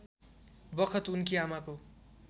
बखत उनकी आमाको